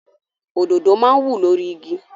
Òdodo máa ń wù lórí igi.